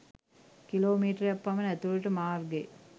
kilo මීටරයක් පමණ ඇතුළට මාර්ගය